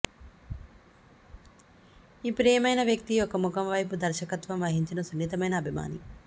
మీ ప్రియమైన వ్యక్తి యొక్క ముఖం వైపు దర్శకత్వం వహించిన సున్నితమైన అభిమాని